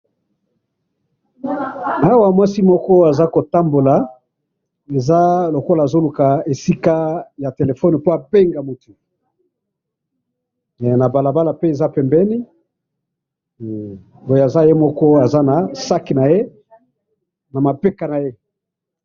awa mwasi moko aza kotambola eza lokola azo luka esika ya telephone po abenga mutu ,na balabala pe eza pembeni aza ye moko aza na sac naye na mapeka naye.